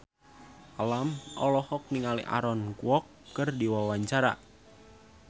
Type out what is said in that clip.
Alam olohok ningali Aaron Kwok keur diwawancara